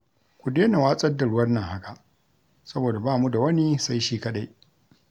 Ku dena watsar da ruwan nan haka saboda bamu da wani sai shi kaɗai